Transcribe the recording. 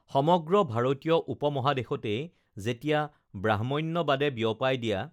সমগ্ৰ ভাৰতীয় উপমহাদেশতেই যেতিয়া ব্ৰাহ্ম্যণ্যবাদে বিয়পাই দিয়া